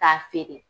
K'a feere